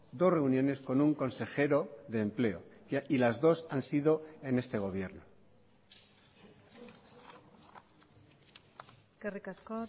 dos reuniones con un consejero de empleo y las dos han sido en este gobierno eskerrik asko